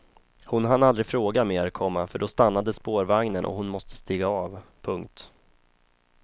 Hon hann aldrig fråga mer, komma för då stannade spårvagnen och hon måste stiga av. punkt